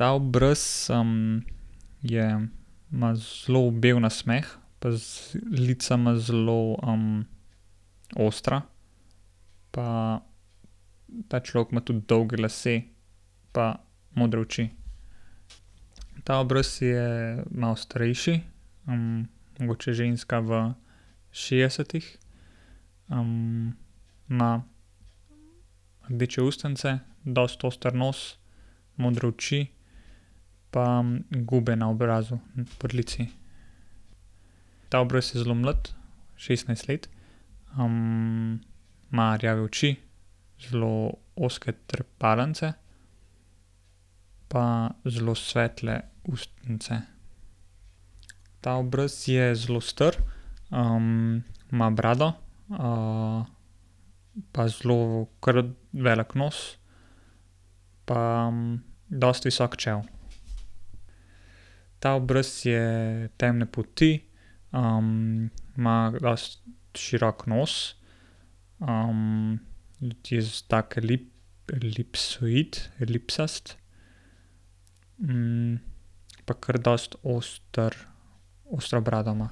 Ta obraz, je, ima zelo bel nasmeh pa lica ima zelo, ostra. Pa ta človek ima tudi dolge lase pa modre oči. Ta obraz je malo starejši, mogoče ženska v šestdesetih. ima rdeče ustnice, dosti oster nos, modre oči pa gube na obrazu, pri licu. Ta obraz je zelo mlad, šestnajst let. ima rjave oči, zelo ozke trepalnice. Pa zelo svetle ustnice. Ta obraz je zelo star, ima brado, pa zelo kar velik nos. Pa dosti visok čelo. Ta obraz je temne polti. ima dosti širok nos, elipsoid, elipsast. pa kar dosti oster, ostro brado ima.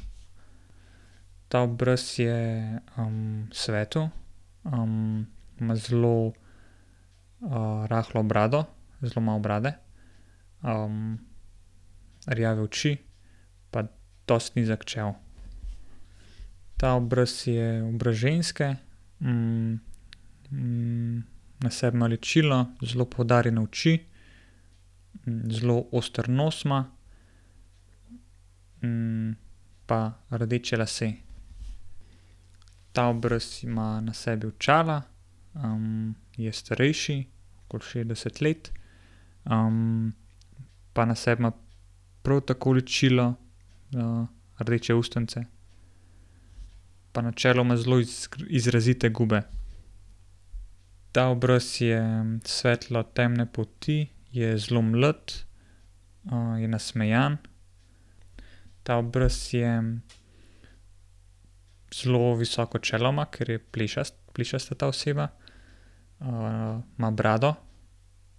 Ta obraz je, svetal, ima zelo, rahlo brado, zelo malo brade. rjave oči, pa dosti nizko čelo. Ta obraz je obraz ženske, na sebi ima ličilo, zelo poudarjene oči, zelo oster nos ima. pa rdeče lase. Ta obraz ima na sebi očala. je starejši, okoli šestdeset let. pa na sebi ima prav tako ličilo, rdeče ustnice. Pa na čelu ima zelo izrazite gube. Ta obraz je svetlo-temne polti. Je zelo mlad, je nasmejan. Ta obraz je, zelo visoko čelo ima, ker je plešast, plešasta ta oseba. ima brado ...